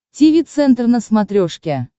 тиви центр на смотрешке